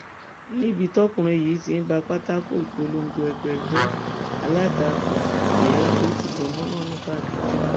níbi tọkùnrin yìí ti ń ba pátákó ìpolongo ẹgbẹ ẹgbẹ alátakò jẹ ló ti gan mọnà nìbàdàn